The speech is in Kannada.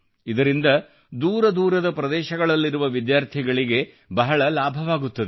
ಇದರಿಂದ ದೂರ ದೂರದ ಪ್ರದೇಶಗಳಲ್ಲಿರುವ ವಿದ್ಯಾರ್ಥಿಗಳಿಗೆ ಬಹಳ ಲಾಭವಾಗುತ್ತದೆ